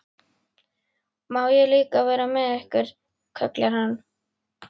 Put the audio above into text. Má ég líka vera með ykkur? kallar hann.